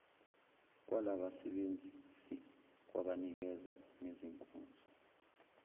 lwabasebenzisi kwabanikeza ngezinkonzo